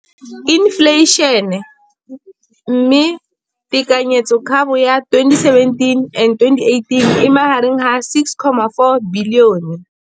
Infleišene, mme tekanyetsokabo ya 2017 le 2018 e magareng ga R6.4 bilione.